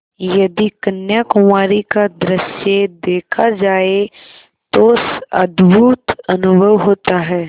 यदि कन्याकुमारी का दृश्य देखा जाए तो अद्भुत अनुभव होता है